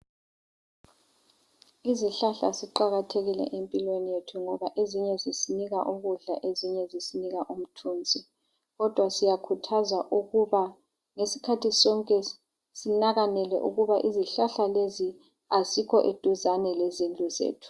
Izihlahla ziqakathekile empilweni yethu ngoba ezinye zisinika ukudla ezinye zisinika umthunzi. Kodwa siyakhuthazwa ukuba ngesikhathi sonke sinakanele ukuba izihlahla lezi azikho eduzane lezindlu zethu.